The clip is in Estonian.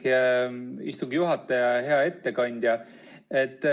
Aitäh, istungi juhataja!